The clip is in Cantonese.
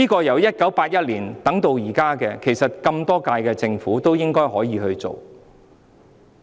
由1981年等到現在，其實多屆政府本應可以處理此事。